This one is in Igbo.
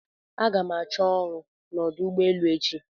Aga m ga chọọ ọrụ n'ọdụ ụgbọ elu echi